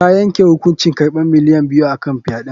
Ta yanke hukuncin karɓan miliyan biyu a kan fyaɗe.